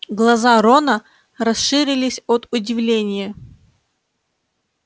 глаза рона расширились от удивления